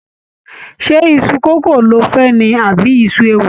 Ṣé iṣu kókò lo fẹ́ ni àbí iṣu ewùrà?